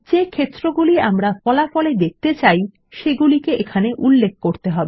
যে ক্ষেত্রগুলি আমরা ফলাফল এ দেখতে চাই সেগুলি এখানে উল্লেখ করতে হবে